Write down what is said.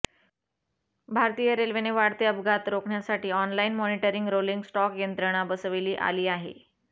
भारतीय रेल्वेने वाढते अपघात रोखण्यासाठी ऑनलाइन मॉनिटरिंग रोलिंग स्टॉक यंत्रणा बसविली आली आहे